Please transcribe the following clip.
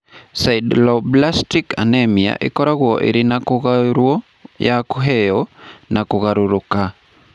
Sideroblastic anemia ĩkoragwo ĩrĩ ya kũgaĩrũo, ya kũheo, na ya kũgarũrũka.